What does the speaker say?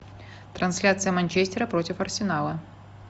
трансляция манчестера против арсенала